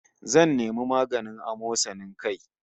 Zan nemi maganin amosanin kai